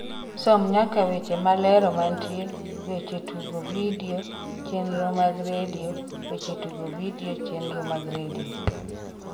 som nyaka weche malero mantie weche tugo vidio chenro mag redio weche tugo vidio chenro mag redio